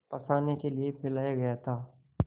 फँसाने के लिए फैलाया गया था